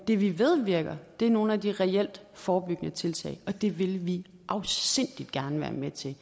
det vi ved virker er nogle af de reelt forebyggende tiltag og det vil vi afsindig gerne være med til